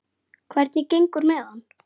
Hvernig gengur með hann?